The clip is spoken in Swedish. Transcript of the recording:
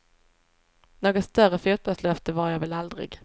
Något större fotbollslöfte var jag väl aldrig.